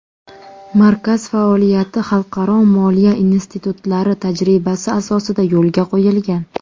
Markaz faoliyati xalqaro moliya institutlari tajribasi asosida yo‘lga qo‘yilgan.